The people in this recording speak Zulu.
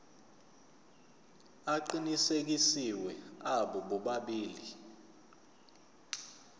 aqinisekisiwe abo bobabili